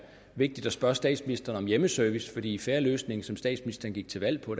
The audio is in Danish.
vigtigt at spørge statsministeren om hjemmeservice fordi i fair løsning som statsministeren gik til valg på